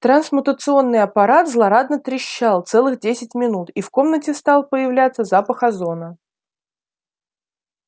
трансмутационный аппарат злорадно трещал целых десять минут и в комнате стал появляться запах озона